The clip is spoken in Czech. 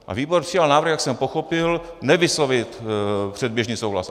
A výbor přijal návrh, jak jsem pochopil, nevyslovit předběžný souhlas.